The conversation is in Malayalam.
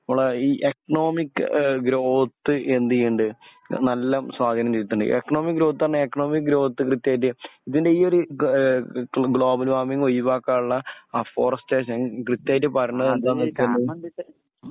മ്മളെ ഇ എക്കണോമിക് ഏ ഗ്രൗത്ത്‌ എന്തിയ്യണ്ട് നല്ല സ്വാധീനം ചെൽത്തണ്ട് എക്കണോമിക് ഗ്രൗത്ത്‌ പറഞ്ഞ എക്കണോമിക് ഗ്രൗത്ത്‌ കൃത്യായിട്ട് ഇതിന്റെ ഈ ഒരു ഏ ഗ്ലോബല് വാർമിങ് ഒഴിവാക്കള്ള അഫോറസ്റ്റേഷൻ കൃത്യായിട്ട് പറീണെന്താച്ചാൽ